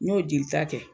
N y'o jelita kɛ